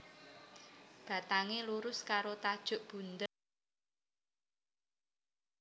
Batangé lurus karo tajuk bundher utawa élips terus dadi ambar